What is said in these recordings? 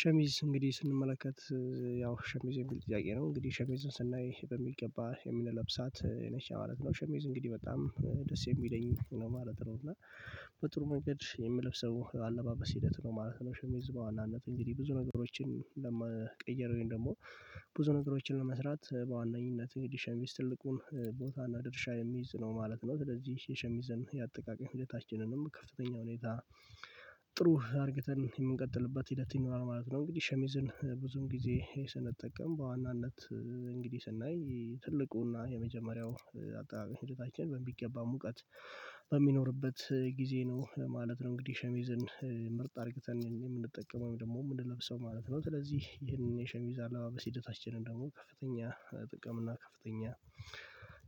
ሸሚዝ እንግዲህ ስንመለከት ያው ሸሚዝ የሚል ጥያቄ ነው እንግዲህ ሸሚዝን ስናይ በሚገባ የምንለብሳት ነች ማለት ነው። ሸሜዝ እንግዲህ በጣም ደስ የሚለኝ ነው ማለት ነው። እና በጥሩ መንገድ የምለብሰው አለባበስ ሂደት ነው ማለት ነው። ሸሚዝ በዋናነት እንግዲህ ብዙ ነገሮችን ለመቀየር ወይም ደግሞ ብዙ ነገሮችን ለመስራት በዋነኝነት ሸሚዝ ትልቁን ቦታና ድርሻ የሚይዝ ነው ማለት ነው። ስለዚህ የሸሚዝን ያጠቃቀም ሂደታችንንም ከፍተኛ ሁኔታ ጥሩ አድርገን የምንቀጥልበት ሂደት ይኖራል ማለት ነው። እንግዲህ ሸሚዝን ብዙም ጊዜ ስንጠቀም በዋናነት እንግዲህ ስናይ ትልቁና የመጀመሪያው አጠቃቀም ሂደታችን በሚገባ ሙቀት በሚኖርበት ጊዜ ነው ማለት ነው። እንግዲህ ሸሚዝን ምርጥ አድርገን የምንጠቀመው ደግሞ የምንለብሰው ማለት ነው ስለዚህ ይህንን የሸሚዝ አላባበስ ሂደታችንን ደግሞ ከፍተኛ ጥቅም እና ከፍተኛ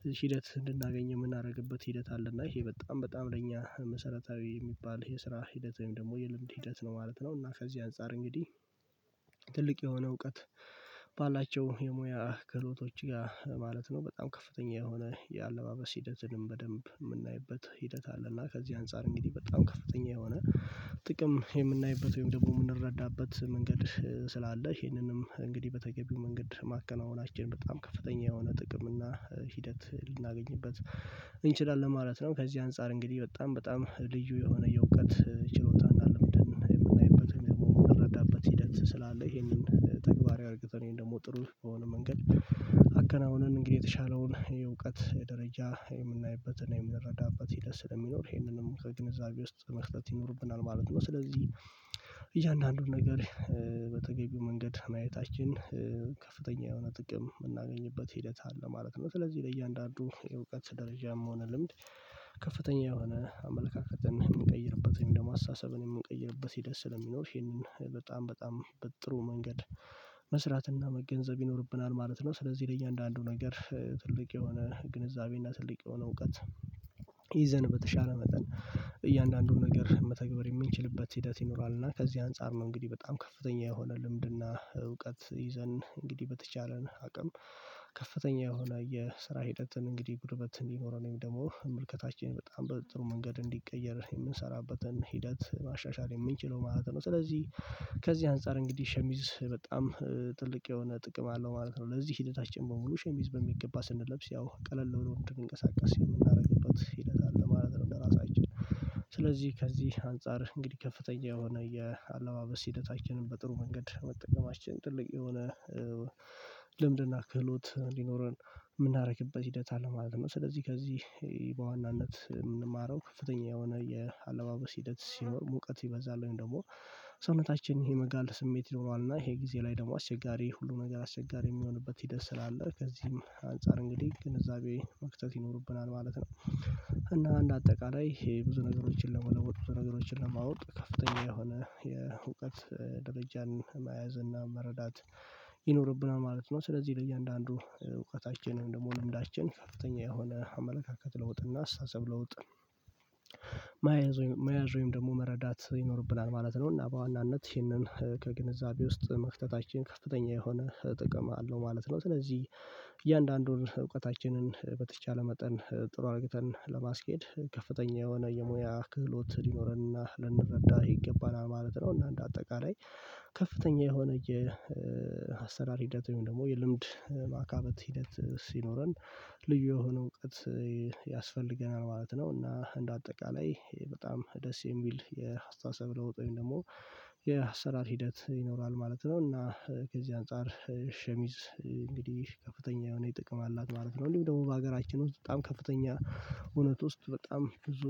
እዚህን ሂደት እንድናገኝ የምናደርግበት ሂደት አለ። እና ይሄ በጣም በጣም ለእኛ መሰረታዊ የሚባል የስራ ሂደት ወይም ደግሞ የልምድ ሂደት ነው ማለት ነው። እና ከዚህ አንፃር እንግዲህ ትልቅ የሆነ እውቀት ባላቸው የሙያ ክህሎቶች ጋር ማለት ነው በጣም ከፍተኛ የሆነ የአለባበስ ሂደትንም በደንብ የምናይበት ሂደት አለ። እና ከዚህ አንፃር እንግዲህ በጣም ከፍተኛ የሆነ ጥቅም የምናይበት ወይም ደግሞ የምንረዳበት መንገድ ስላለ ይሄንንም እንግዲህ በተገቢው መንገድ ማከናወናችን በጣም ከፍተኛ የሆነ ጥቅም እና ሂደት ልናገኝበት እንችላለን ማለት ነው። ከዚህ አንፃር እንግዲህ በጣም በጣም ልዩ የሆነ የእውቀት ችሎታ እና ልምድን የምናይበት ወይም ደግሞ የምንረዳበት ሂደት ስላለ ይሄንን ተግባራዊ አድርገን ወይም ደግሞ ጥሩ የሆነ መንገድ አከናውነን እንግዲህ የተሻለውን የእውቀት ደረጃ የምናይበትና የምንረዳበት ሂደት ስለሚኖር ይሄንንም ከግንዛቤ ውስጥ መክተት ይኖርብናል ማለት ነው። ስለዚህ እያንዳንዱን ነገር በተገቢው መንገድ ማየታችን ከፍተኛ የሆነ ጥቅም የምናገኝበት ሂደት አለ ማለት ነው። ስለዚህ ለእያንዳንዱ የእውቀት ደረጃም ሆነ ልምድ ከፍተኛ የሆነ አመለካከትን የምንቀይርበትን ደግሞ አሳሰብን የምንቀይርበት ሂደት ስለሚኖር ይሄንን በጣም በጣም በጥሩ መንገድ መስራትና መገንዘብ ይኖርብናል ማለት ነው። ስለዚህ ለእያንዳንዱ ነገር ትልቅ የሆነ ግንዛቤና ትልቅ የሆነ እውቀት ይዘን በተሻለ መጠን እያንዳንዱን ነገር መተግበር የምንችልበት ሂደት ይኖራል። እና ከዚህ አንፃር ነው እንግዲህ በጣም ከፍተኛ የሆነ ልምድና እውቀት ይዘን እንግዲህ በተቻለን አቅም ከፍተኛ የሆነ የስራ ሂደትን እንግዲህ ጉልበት እንዲኖረን ወይም ደግሞ መልከታችን በጣም በጥሩ መንገድ እንዲቀየር የምንሰራበትን ሂደት ማሻሻል የምንችለው ማለት ነው። ስለዚህ ከዚህ አንፃር እንግዲህ ሸሚዝ በጣም ትልቅ የሆነ ጥቅም አለው ማለት ነው። ለዚህ ሂደታችን በሙሉ ሸሚዝ በሚገባ ስንለብስ ያው ቀለል ብሎ እንድንቀሳቀስ የምናደርግለት ሂደት አለ ማለት ነው። እንደራሳችን ስለዚህ ከዚህ አንፃር እንግዲህ ከፍተኛ የሆነ የአለባበስ ሂደታችንን በጥሩ መንገድ መጠቀማችን ጥልቅ የሆነ ልምድና ክህሎት እንዲኖረን የምናደርግበት ሂደት አለ ማለት ነው። ስለዚህ ከዚህ በዋናነት የምንማረው ከፍተኛ የሆነ የአለባበስ ሂደት ሲኖር ሙቀት ይበዛል ወይም ደግሞ ሰውነታችን የመጋል ስሜት ይኖረዋል እና ይሄ ጊዜ ላይ ደግሞ አሸጋሪ ሁሉ ነገር አስቸጋሪ የሚሆንበት ሂደት ስላለ ከዚህም አንፃር እንግዲህ ግንዛቤ መክተት ይኖርብናል ማለት ነው። እና አንደ አጠቃላይ ይሄ ብዙ ነገሮችን ለመውጣት ብዙ ነገሮችን ለማወቅ ከፍተኛ የሆነ የእውቀት ድረጃን መያዝ እና መረዳት ይኖርብናል ማለት ነው። ስለዚህ ለእያንዳንዱ እውቀታችንን ደግሞ ልምዳችን ከፍተኛ የሆነ አመለካከት ለውጥ እና አሳሰብ ለውጥ መያዝ ወይም ደግሞ መረዳት ይኖርብናል ማለት ነው እና በዋናነት ይህንን ከግንዛቤ ውስጥ መክተታችን ከፍተኛ የሆነ ጥቅም አለው ማለት ነው። ስለዚህ እያንዳንዱን እውቀታችንን በተቻለ መጠን ጥሩ አድርገን ለማስኬድ ከፍተኛ የሆነ የሙያ ክህሎት ሊኖረንና ልንረዳ ይገባናል ማለት ነው። እና እንደ አጠቃላይ ከፍተኛ የሆነ የአሰራር ሂደት ወይም ደግሞ የልምድ ማካበት ሂደት ሲኖረን ልዩ የሆነ እውቀት ያስፈልገናል ማለት ነው። እና እንደ አጠቃላይ በጣም ደስ የሚል የአስተሳሰብ ለውጥ ወይም ደግሞ የአሰራር ሂደት ይኖራል ማለት ነው። እና ከዚህ አንፃር ሸሚዝ እንግዲህ ከፍተኛ የሆነ ጥቅም አላት ማለት ነው። እንዲሁም ደግሞ በሀገራችን ውስጥ በጣም ከፍተኛ እውነት ውስጥ በጣም ብዙ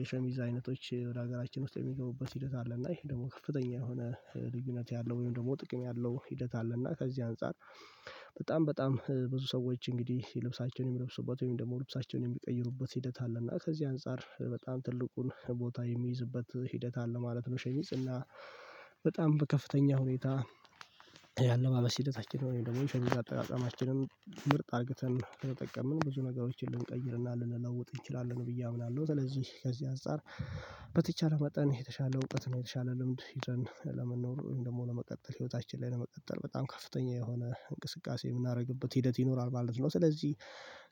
የሸሚዝ አይነቶች ወደ ሀገራችን ውስጥ የሚገቡበት ሂደት አለ። እና ይሄ ደግሞ ከፍተኛ የሆነ ልዩነት ያለው ወይም ደግሞ ጥቅም ያለው ሂደት አለ። እና ከዚህ አንፃር በጣም በጣም ብዙ ሰዎች እንግዲህ ልብሳቸውን የሚለብሱበት ወይም ደግሞ ልብሳቸውን የሚቀይሩበት ሂደት አለ እና ከዚህ አንፃር በጣም ትልቁን ቦታ የሚይዝበት ሂደት አለ ማለት ነው። ሸሚዝ እና በጣም ከፍተኛ ሁኔታ ያለባበስ ሂደታችንን ወይም ደግሞ የሸሚዝ አጠቃቀማችንን ምርጥ አድርገን ከተጠቀምን ብዙ ነገሮችን ልንቀይርና ልንለውጥ እንችላለን ብዬ አብላለሁ። ስለዚህ ከዚህ አጻር በተቻለ መጠን የተሻለ እውቀት ነው የተሻለ ልምድ ይዘን ለመኖር ወይም ደግሞ ለመቀጠል ህይወታችን ላይ ለመቀጠል በጣም ከፍተኛ የሆነ እንቅስቃሴ የምናደርግበት ሂደት ይኖራል ማለት ነው። ስለዚህ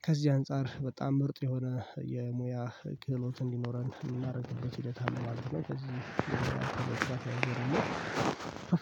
ከዚህ አንፃር በጣም ምርጥ የሆነ የሙያ ክህሎት እንዲኖረን የምናደርግበት ሂደትአለ ማለት ነው። ከዚህ